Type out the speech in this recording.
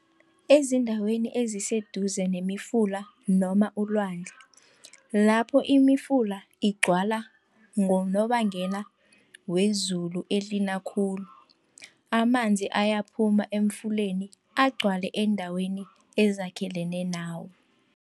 Ezindaweni eziseduze nemifula noma ulwandle, lapho imifula igcwala ngonobangela wezulu elina khulu. Amanzi ayaphuma emfuleni agcwale eendaweni ezakhelene nawo.